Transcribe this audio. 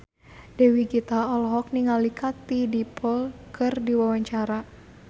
Dewi Gita olohok ningali Katie Dippold keur diwawancara